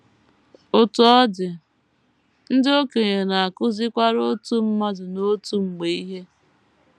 Otú ọ dị, ndị okenye na - akụzikwara otu mmadụ n’otu mgbe ihe.